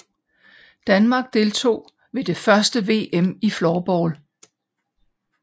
Danmark deltog ved det første VM i floorball